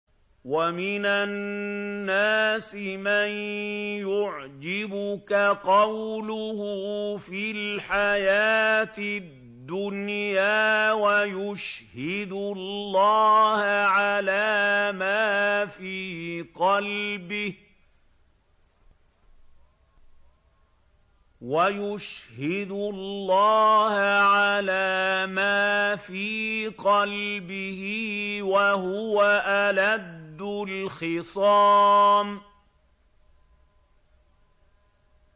وَمِنَ النَّاسِ مَن يُعْجِبُكَ قَوْلُهُ فِي الْحَيَاةِ الدُّنْيَا وَيُشْهِدُ اللَّهَ عَلَىٰ مَا فِي قَلْبِهِ وَهُوَ أَلَدُّ الْخِصَامِ